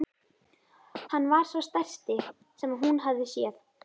Hann var sá stærsti sem hún hafði séð.